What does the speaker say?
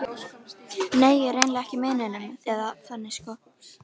Nei, ég er eiginlega ekki með neinum, eða þannig sko.